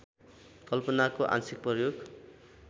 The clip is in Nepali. कल्पनाको आंशिक प्रयोग